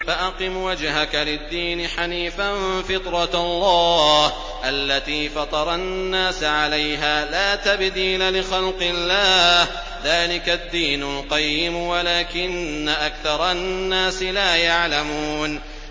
فَأَقِمْ وَجْهَكَ لِلدِّينِ حَنِيفًا ۚ فِطْرَتَ اللَّهِ الَّتِي فَطَرَ النَّاسَ عَلَيْهَا ۚ لَا تَبْدِيلَ لِخَلْقِ اللَّهِ ۚ ذَٰلِكَ الدِّينُ الْقَيِّمُ وَلَٰكِنَّ أَكْثَرَ النَّاسِ لَا يَعْلَمُونَ